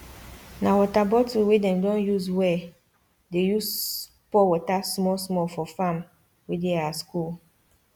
na water bottle wey them don usewe dey use pour water small small for farm wey dey our school